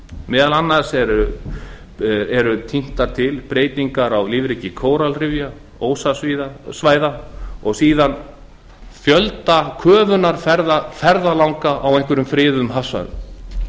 meðal annars eru tíndar til breytingar á lífríki kóralrifja og ósasvæða og síðan fjöldi köfunarferða ferðalanga á ákveðnum friðuðum hafsvæðum